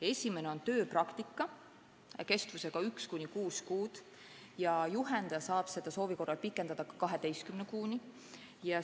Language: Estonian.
Esimene on tööpraktika kestusega üks kuni kuus kuud ja juhendaja saab seda soovi korral pikendada 12 kuuni.